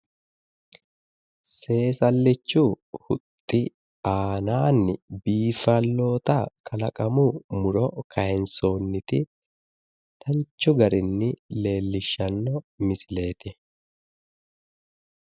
seesallichu huxxi aannaanni bifalloota kalaqamu muro kaayinsoonniti danchu garinni leellishshanno misileeti.